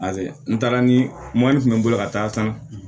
n taara ni mɔni bɛ n bolo ka taa san